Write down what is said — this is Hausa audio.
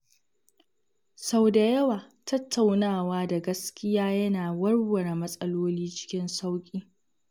Sau da yawa, tattaunawa da gaskiya yana warware matsaloli cikin sauƙi.